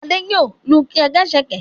Adé yòó lu ṣẹ̀kẹ̀rẹ̀.